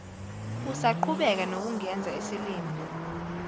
usaqhubeka nokungenza isilima